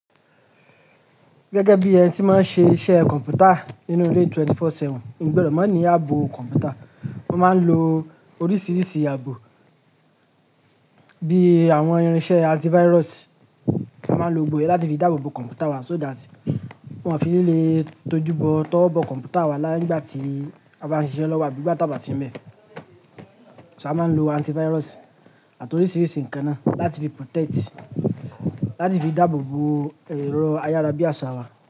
Gẹ́gẹ́ bí ẹni tí máa ń ṣe iṣẹ́ kọ̀npútà nínú ilé 24/7, mi gbọdọ̀ máa ní ààbò kọ̀npútà. Mo máa ń lo oríṣiríṣi ààbò bí àwọn irinṣẹ́ antivirus, a máa ń lo gbogbo iyẹn láti fi dáàbò bo kọ̀npútà wa so that wọ́n ò fi ni lè tójú bọ tówo bọ kọ̀mpútà wa láì nigba ti a bá ń ṣe iṣẹ́ lọ́wọ́ abí ìgbà ti á bá si ń bẹ́. A máa ń lo antivirus àti oríṣiríṣi ǹkan náà láti fi protect, láti fi dáàbò bo ẹ̀rọ ayára bí àsá wa.